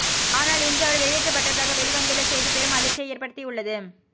ஆனால் இன்று அவர் வெளியேற்றப்பட்டதாக வெளிவந்துள்ள செய்தி பெரும் அதிர்ச்சியை ஏற்படுத்தியுள்ளது